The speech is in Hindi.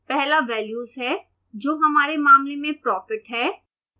पहला वेल्यूज है जो हमारे मामले में profit है